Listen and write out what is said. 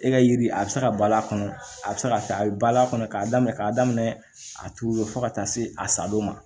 E ka yiri a bɛ se ka bal'a kɔnɔ a bɛ se ka taa a bɛ bal'a kɔnɔ k'a daminɛ k'a daminɛ a turulen fo ka taa se a sadon ma